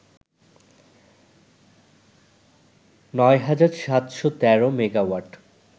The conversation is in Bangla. ৯৭১৩ মেগাওয়াট